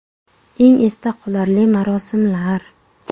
Eng esda qolarli marosimlar .